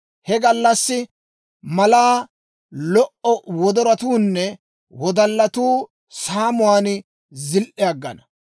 He gallassi malaa lo"o wodoratuunne wodallatuu saamuwaan ziili aggana.